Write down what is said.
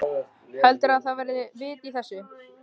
Heldurðu að það hafi verið vit í þessu?